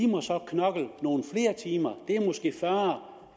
må så knokle nogle flere timer det er måske fyrre